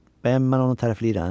Bəyəm mən onu tərifləyirəm?